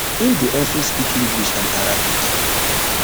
im dey also speak english and arabic